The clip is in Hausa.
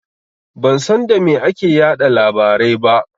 Ban san da me ake yaɗa labarai ba.